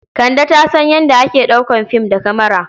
Kande ta san yadda ake ɗaukar fim da kamara.